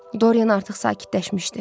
Doryan artıq sakitləşmişdi.